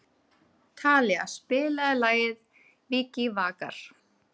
Talía, spilaðu lagið „Vikivakar“.